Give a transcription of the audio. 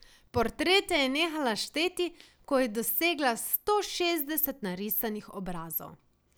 Portrete je nehala šteti, ko je dosegla sto šestdeset narisanih obrazov.